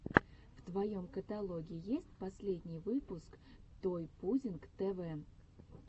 в твоем каталоге есть последний выпуск той пудинг тэ вэ